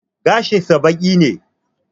Gashin sa baƙi ne